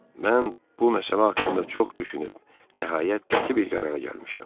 Mən bu məsələ haqqında çox düşünüb, nəhayət qəti bir qərara gəlmişəm.